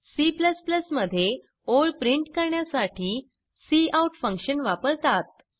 C मध्ये ओळ print करण्यासाठी काउट फंक्शन वापरतात